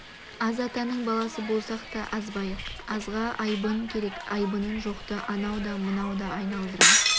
аз атаның баласы болсақ та азбайық азға айбын керек айбыны жоқты анау да мынау да айналдыра